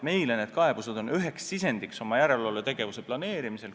Meile on need kaebused üheks sisendiks oma järelevalvetegevuse planeerimisel.